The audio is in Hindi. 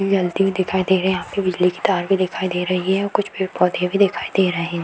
जलती हुई दिखाई दे रहे है यहाँ पे बिजली के तार भी दिखाई दे रही है और कुछ पेड़-पौधे भी दिखाई दे रहें हैं।